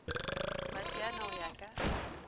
ba tšeana go ya ka